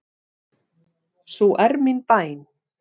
Sú er mín bæn.